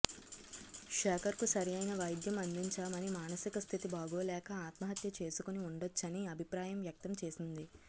శేఖర్ కు సరైన వైద్యం అందించామని మానసిక స్థితి బాగోలేక ఆత్మహత్య చేసుకొని ఉండొచ్చని అభిప్రాయం వ్యక్తం చేసింది